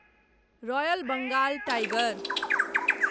royal Bengal tiger